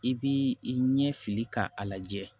I b'i i ɲɛ fili k'a lajɛ